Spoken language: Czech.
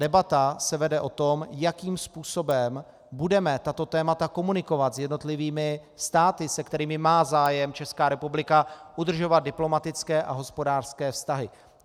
Debata se vede o tom, jakým způsobem budeme tato témata komunikovat s jednotlivými státy, se kterými má zájem Česká republika udržovat diplomatické a hospodářské vztahy.